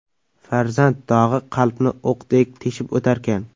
Farzand dog‘i qalbni o‘qdek teshib o‘tarkan.